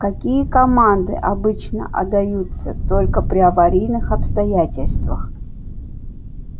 какие команды обычно отдаются только при аварийных обстоятельствах